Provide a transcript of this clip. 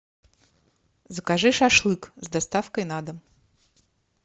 закажи шашлык с доставкой на дом